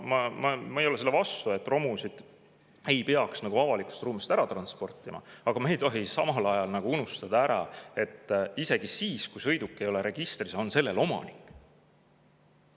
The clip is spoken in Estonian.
Ma ei ole selle vastu, et romusid peaks avalikust ruumist ära transportima, aga me ei tohi samal ajal unustada ära, et isegi siis, kui sõiduk ei ole registris, on sellel omanik.